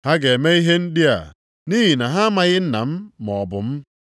Ha ga-eme ihe ndị a nʼihi na ha amaghị Nna maọbụ m.